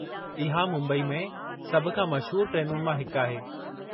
इहा मुंबई में सभु खां मशहूर ट्रेनुनि मां हिकु आहे।